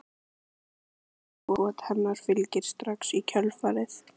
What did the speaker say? En hann skýtur og skot hennar fylgir strax í kjölfarið.